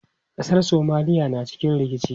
Ƙasar Somalia na cikin rikici.